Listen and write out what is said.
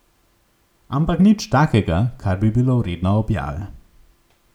Ampak nič takega, kar bi bilo vredno objave.